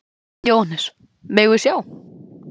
Jóhannes: Megum við sjá?